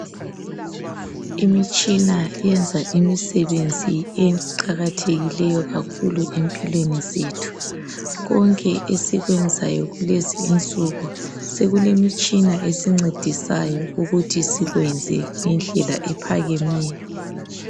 Imitshina eyenza imisebenzi eqakathekileyo kakhulu empilweni zethu. Konke esikwenzayo kulezi insuku sekulemitshina esincedisayo ukuthi sikwenze indlela ephakemeyo.